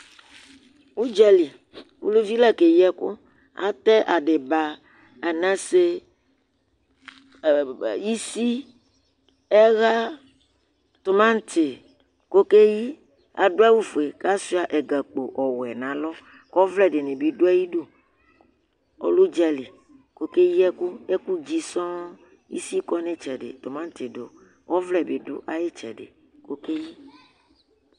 ʊdzăli ụlʊvi lɑ kɛyiɛkʊ ătɛ ɑɗibɑ ạɲɑsé ïsi ẽhɑ tũmãɲti kɔkɛyi ɑdʊɑwu fʊɛ kɑchɛạ ɛgăkpọwʊɛ ɲɑlọ kọvlé ɗinibi ɗʊɑyiɖũ ọlɛ ʊdzɑli kọkɛyiẹkω ɛkʊdzi sọn isi kõɲitsɛɗiɔvlébiɖʊ ɑyitséɗi